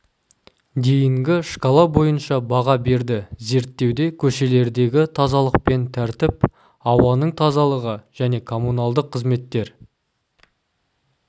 дейінгі шкала бойынша баға берді зерттеуде көшелердегі тазалық пен тәртіп ауаның тазалығы және коммуналдық қызметтер